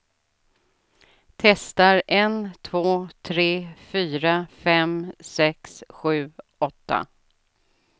Testar en två tre fyra fem sex sju åtta.